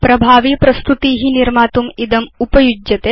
प्रभावि प्रस्तुती निर्मातुम् इदमुपयुज्यते